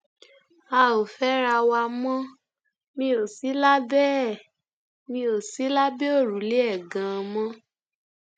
a ò fẹra wa mọ mi ò sí lábẹ ẹ mi ò sí lábẹ òrùlé ẹ ganan mọ